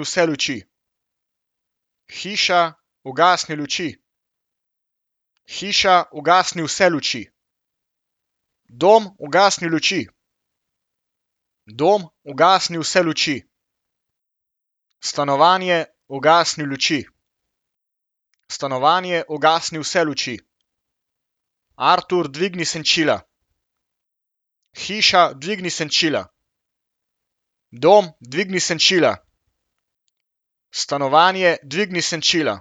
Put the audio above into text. vse luči. Hiša, ugasni luči. Hiša, ugasni vse luči. Dom, ugasni luči. Dom, ugasni vse luči. Stanovanje, ugasni luči. Stanovanje, ugasni vse luči. Artur, dvigni senčila. Hiša, dvigni senčila. Dom, dvigni senčila. Stanovanje, dvigni senčila.